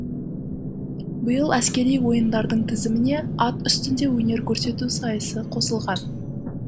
биыл әскери ойындардың тізіміне ат үстінде өнер көрсету сайысы қосылған